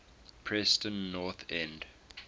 preston north end